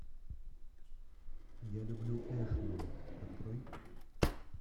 я люблю эшлин открой